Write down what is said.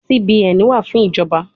CBN wa fun ijọba